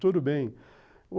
Tudo bem.